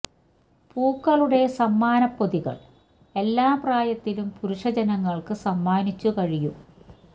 പൂക്കളുടെ സമ്മാന പൊതികൾ എല്ലാ പ്രായത്തിലും പുരുഷ ജനങ്ങൾക്ക് സമ്മാനിച്ചു കഴിയും